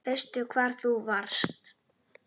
Veistu hvar þú varst?